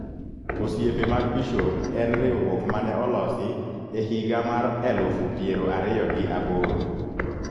Osiepe mag bishop en riwuok mane olosi e higa mar elufu piero ariyo gi aboro.